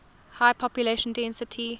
high population density